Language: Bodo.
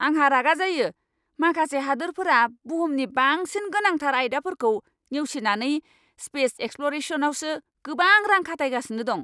आंहा रागा जायो, माखासे हादोरफोरा बुहुमनि बांसिन गोनांथार आयदाफोरखौ नेवसिनानै स्पेस एक्सप्ल'रेसनआवसो गोबां रां खाथायगासिनो दं!